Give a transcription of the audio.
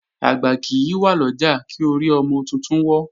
Àgbà kì í wà lọ́jà, kí orí ọmọ titun wọ́.